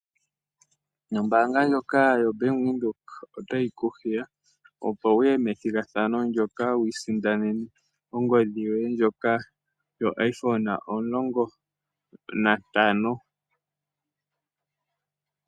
Ombaanga ndjoka yoBank Windhoek otayi ku hiya opo wu ye methigathano ndoka, opo wi isindanene ongodhi yoye ndjoka yo iphone 15.